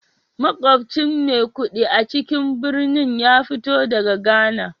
Makwabcin Maikudi a cikin birnin ya fito daga Ghana